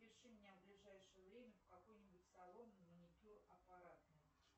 запиши меня в ближайшее время в какой нибудь салон на маникюр аппаратный